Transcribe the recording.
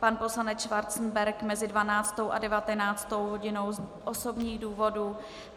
Pan poslanec Schwarzenberg mezi 12. a 19. hodinou z osobních důvodů.